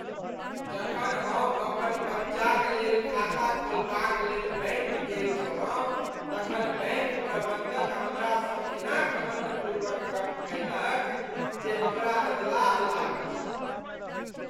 जखन हम अपन बच्चाक लेल खाता खोलबाक लेल बैंक गेल छलहुँ तखन बैंक प्रबंधक हमरासँ एना घमंडपूर्वक गप्प कयलक जे हमराअधलाह लागल ।